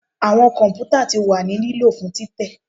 Awọn kọmputa ti wa ni lilo fun titẹ